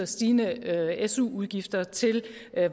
stigende su udgifter til